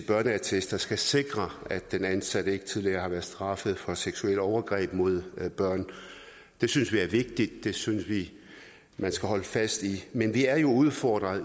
børneattester skal sikre at den ansatte ikke tidligere har været straffet for seksuelle overgreb mod børn det synes vi er vigtigt det synes vi man skal holde fast i men vi er jo udfordret